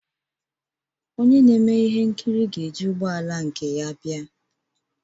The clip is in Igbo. Onye na-eme ihe nkiri ga-eji ụgbọ ala nke ya bịa